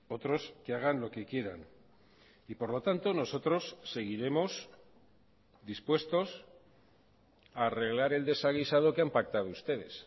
otros que hagan lo que quieran y por lo tanto nosotros seguiremos dispuestos a arreglar el desaguisado que han pactado ustedes